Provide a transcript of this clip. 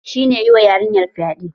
Shine ya yiwa yarinyar fyaɗe.